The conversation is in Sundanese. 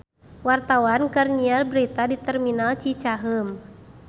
Wartawan keur nyiar berita di Terminal Cicaheum